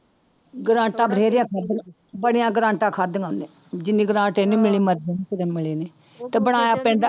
ਗ੍ਰਾਂਟਾਂ ਬਥੇਰੀਆਂ ਖਾਧੀਆਂ, ਬੜੀਆਂ ਗ੍ਰਾਂਟਾਂ ਖਾਧੀਆਂ ਉਹਨੇ ਜਿੰਨੀ ਗ੍ਰਾਂਟ ਇਹਨੂੰ ਕਿਤੇ ਮਿਲੀ ਨੀ ਤੇ ਬਣਾਇਆ